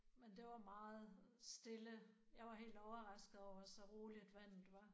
Men det var meget stille. Jeg var helt overrasket over så roligt at vandet var